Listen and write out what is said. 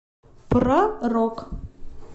про рок